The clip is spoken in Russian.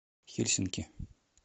хельсинки